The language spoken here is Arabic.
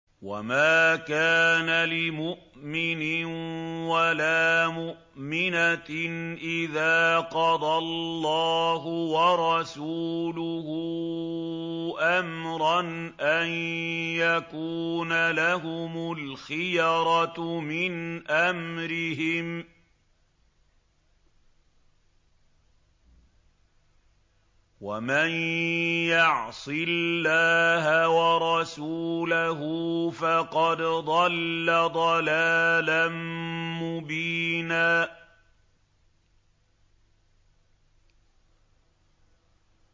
وَمَا كَانَ لِمُؤْمِنٍ وَلَا مُؤْمِنَةٍ إِذَا قَضَى اللَّهُ وَرَسُولُهُ أَمْرًا أَن يَكُونَ لَهُمُ الْخِيَرَةُ مِنْ أَمْرِهِمْ ۗ وَمَن يَعْصِ اللَّهَ وَرَسُولَهُ فَقَدْ ضَلَّ ضَلَالًا مُّبِينًا